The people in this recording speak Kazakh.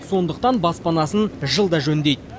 сондықтан баспанасын жылда жөндейді